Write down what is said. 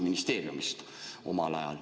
Just.